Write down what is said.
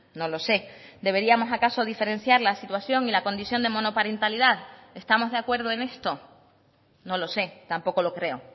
no lo sé deberíamos acaso diferenciar la situación y la condición de monoparentalidad estamos de acuerdo en esto no lo sé tampoco lo creo